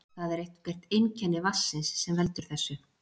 Það er eitthvert einkenni vatnsins sem veldur þessu.